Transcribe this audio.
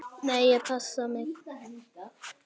Nei, ég passa mig.